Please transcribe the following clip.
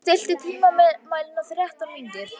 Hlédís, stilltu tímamælinn á þrettán mínútur.